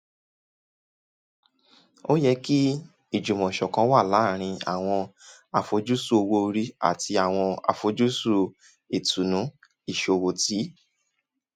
o yẹ kí ìjùmọ̀sọ̀kan wà láàárín àwọn àfojúsùn owó orí àti àwọn àfojúsùn ìtùnú ìṣòwò ti